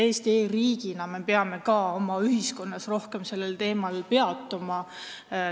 E-riigina me peame oma ühiskonnas rohkem sellel teemal peatuma.